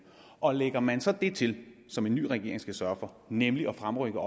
og lægger man så det til som en ny regering skal sørge for nemlig at fremrykke